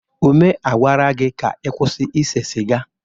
Ume, a gwara gị ka ị kwụsị ise siga!